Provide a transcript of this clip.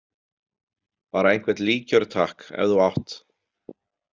Bara einhvern líkjör, takk, ef þú átt